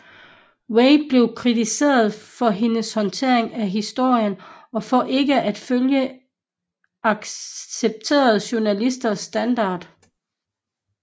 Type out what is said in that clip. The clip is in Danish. Way blev kritiseret for hendes håndtering af historien og for ikke at følge accepterede journalistiske standarder